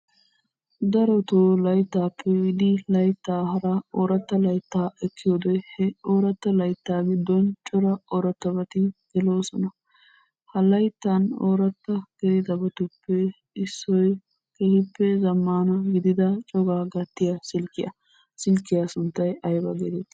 Darotoo layttappe biidi laytta hara ooratta laytta ekkiyoode, he ooratt laytta giddon cora ooratabato gelissoona. Ha layttan oorata gelidaabatuppe issoy keehippe zammana gidiyaa cogaa gattiyaa silkkiya. Silkkiya sunttay aybba getetti?